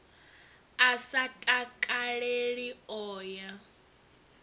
a sa takaleli o ya